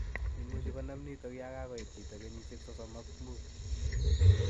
Imuche konaam nitok yaan kagoit chito kenyisiek sosom ak muut